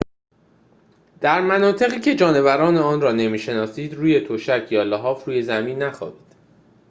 در مناطقی که جانوران آنجا را نمی‌شناسید روی تشک یا لحاف روی زمین نخوابید